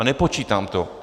A nepočítám to.